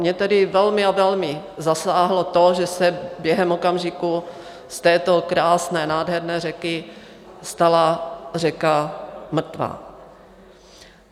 Mě tedy velmi a velmi zasáhlo to, že se během okamžiku z této krásné, nádherné řeky stala řeka mrtvá.